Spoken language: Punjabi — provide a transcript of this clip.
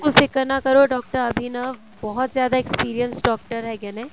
ਬਿਲਕੁਲ ਫਿਕਰ ਨਾ ਕਰੋ ਡਾਕਟਰ ਅਭਿਨਵ ਬਹੁਤ ਜਿਆਦਾ experienced ਡਾਕਟਰ ਹੈਗੇ ਨੇ